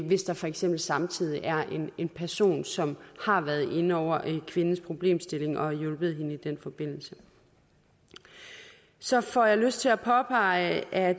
hvis der for eksempel samtidig er en person som har været inde over kvindens problemstilling og som har hjulpet hende i den forbindelse så får jeg lyst til at påpege at